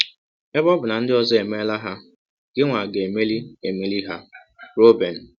Ebe ọ bụ na ndị ọzọ emeela ha, gịnwa ga - emeli - emeli ha. ”— Roben.